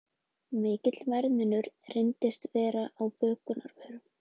Mikill verðmunur reyndist vera á bökunarvörum